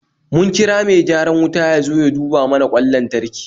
Mun kira mai gyaran wuta ya zo ya duba mana kwan lantarki